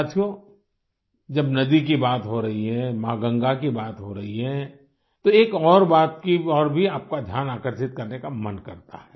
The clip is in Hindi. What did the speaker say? साथियो जब नदी की बात हो रही है माँ गंगा की बात हो रही है तो एक और बात की ओर भी आपका ध्यान आकर्षित करने का मन करता है